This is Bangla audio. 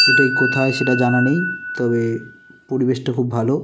এটাই কোথায় সেটা জানা নেই তবে পরিবেশটা খুব ভালো।